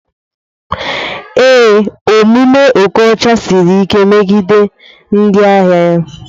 Ee, omume okocha Siri like megide ndị ahịa ya.